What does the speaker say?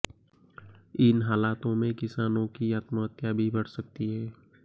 इन हालातों में किसानों की आत्महत्या भी बढ़ सकती है